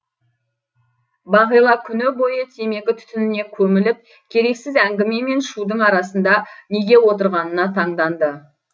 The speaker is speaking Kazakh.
бағила күні бойы темекі түтініне көміліп керексіз әңгіме мен шудың арасында неге отырғанына таңданды